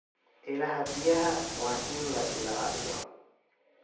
Ilaha biyaha waa in la ilaaliyo.